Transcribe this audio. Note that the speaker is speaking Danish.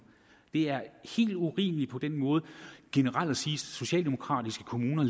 det er helt urimeligt på den måde generelt at sige at socialdemokratiske kommuner